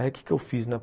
Aí o que que eu fiz, né?